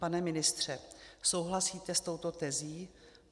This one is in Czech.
Pane ministře, souhlasíte s touto tezí?